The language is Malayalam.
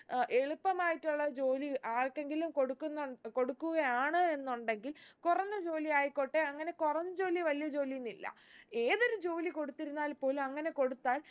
ഏർ എളുപ്പമായിട്ടുള്ള ജോലി ആര്‍ക്കെങ്കിലും കൊടുക്കുന്നു കൊടുക്കുകയാണ് എന്നുണ്ടെങ്കിൽ കുറഞ്ഞ ജോലിയായിക്കോട്ടെ അങ്ങനെ കുറഞ്ഞ ജോലി വലിയ ജോലി എന്നില്ല ഏതൊരു ജോലി കൊടുത്തിരുന്നാൽ പോലും അങ്ങനെ കൊടുത്താൽ